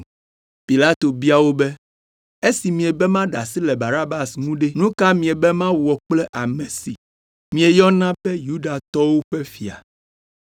Pilato bia wo be, “Esi miebe maɖe asi le Barabas ŋu ɖe, nu ka miebe mawɔ kple ame si mieyɔna be Yudatɔwo ƒe Fia?”